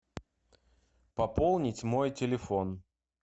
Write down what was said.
пополнить мой телефон